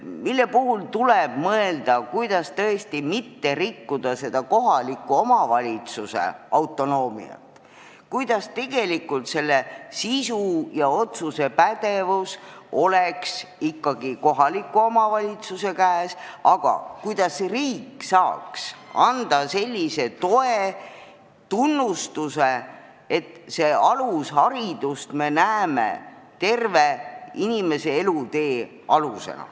Tuleb tõesti mõelda, kuidas mitte rikkuda kohaliku omavalitsuse autonoomiat, kuidas teha nii, et pädevus otsuseid teha oleks ikkagi kohaliku omavalitsuse käes, aga riik saaks toetada seisukohta, et alusharidus on inimese terve elutee alus.